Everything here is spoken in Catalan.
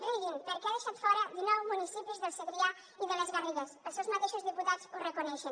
riguin perquè ha deixat fora dinou municipis del segrià i de les garrigues els seus mateixos diputats ho reconeixen